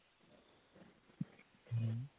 ਹਮ